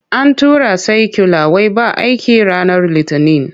An tura saikyula wai ba aiki ranar Litinin.